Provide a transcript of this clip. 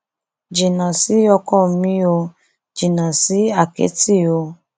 jìnnà sí ọkọ mi ò jìnnà sí àkẹtì o